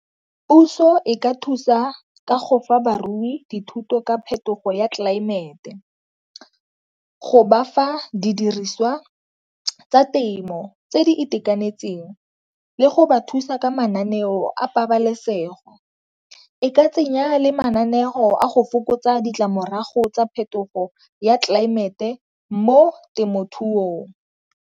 Puso e ka thusa ka go fa barui dithuto ka phetogo ya tlelaemete, go bafa didiriswa tsa temo tse di itekanetseng le go ba thusa ka mananeo a pabalesego. E ka tsenya le mananeo a go fokotsa ditlamorago tsa phetogo ya tlelaemete mo temothuong.